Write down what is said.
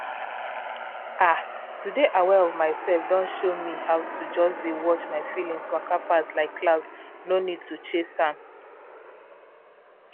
ah! to dey aware of myself don show me how to just dey watch my feelings waka pass like cloud no need to chase am.